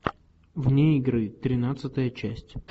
вне игры тринадцатая часть